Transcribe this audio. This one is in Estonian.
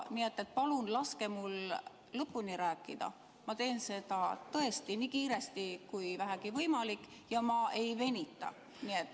Nii et palun laske mul lõpuni rääkida, ma teen seda tõesti nii kiiresti kui vähegi võimalik ega venita.